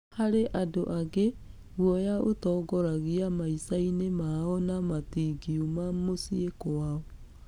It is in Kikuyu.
Harĩ andũ angĩ, guoya ũtongoragia maicainĩ mao na matigiuma mũcie kwao.